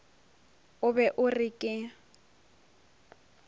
o be o re ke